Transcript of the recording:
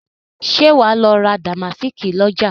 Ṣé wà á lọ ra dàmásíìkì lọ́jà?